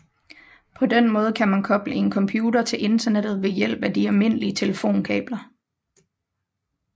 På den måde kan man koble en computer til internettet ved hjælp af de almindelige telefonkabler